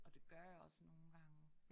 Og det gør jeg også nogle gange